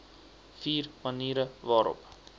vier maniere waarop